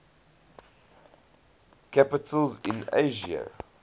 capitals in asia